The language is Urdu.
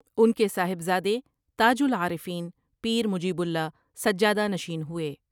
ان کے صاحبزادے تاج العارفین پیر مجیب اللہ سجادہ نشین ہوئے ۔